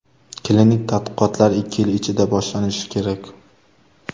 Klinik tadqiqotlar ikki yil ichida boshlanishi kerak.